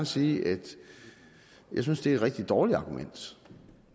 sige at jeg synes det er et rigtig dårligt argument